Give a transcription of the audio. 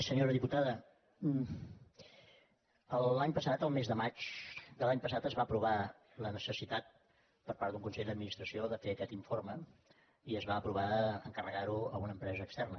senyora diputada l’any passat el mes de maig de l’any passat es va apro·var la necessitat per part d’un consell d’administració de fer aquest informe i es va aprovar encarregar·ho a una empresa externa